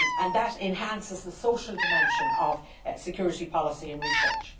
That enhances the social dimension of security policy and research.